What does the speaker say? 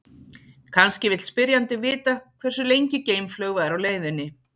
Kannski vill spyrjandinn vita hversu lengi geimflaug væri á leiðinni.